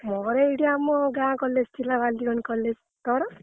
ମୋର ଏଇଟି ଆମ ଗାଁ college ଥିଲା ବାଲିକଣ college ତୋର?